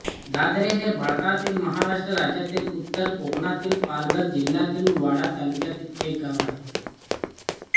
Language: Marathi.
धाधरे हे भारतातील महाराष्ट्र राज्यातील उत्तर कोकणातील पालघर जिल्ह्यातील वाडा तालुक्यातील एक गाव आहे